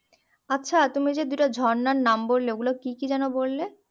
আচ্ছা তুমি যে দুটো ঝর্ণার নাম বললে ওই গুলো কি কি যেন বললে